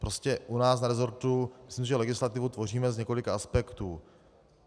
Prostě u nás na resortu myslím, že legislativu tvoříme z několika aspektů.